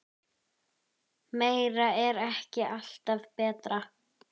Meira er ekki alltaf betra.